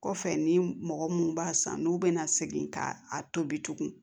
Kɔfɛ ni mɔgɔ munnu b'a san n'u bɛna segin ka a tobi